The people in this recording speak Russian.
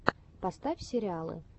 поставь сериалы